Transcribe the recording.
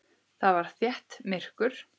Þar var þétt myrkur.